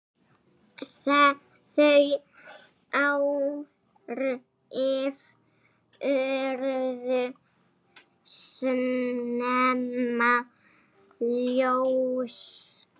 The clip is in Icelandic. Þau áhrif urðu snemma ljós.